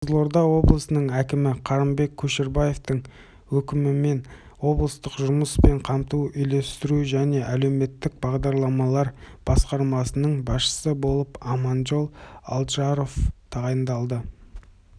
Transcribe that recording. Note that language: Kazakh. қызылорда облысының әкімі қырымбек көшербаевтың өкімімен облыстық жұмыспен қамтуды үйлестіру және әлеуметтік бағдарламалар басқармасының басшысы болып аманжол алдажаров тағайындалды